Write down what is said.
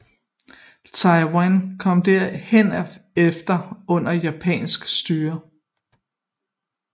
Taiwan kom herefter under japansk styre